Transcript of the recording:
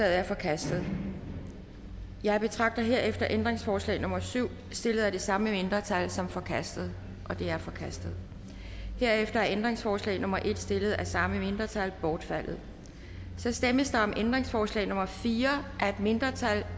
er forkastet jeg betragter herefter ændringsforslag nummer syv stillet af det samme mindretal som forkastet det er forkastet herefter er ændringsforslag nummer en stillet af samme mindretal bortfaldet der stemmes om ændringsforslag nummer fire af et mindretal